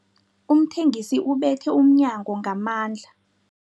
Umthengisi ubethe umnyango ngamandla.